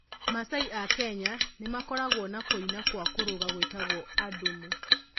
Maasai a Kenya nĩmakorago na kũina kwa kũrũga gwĩtago adumu.